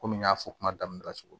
Komi n y'a fɔ kuma daminɛ na cogo min na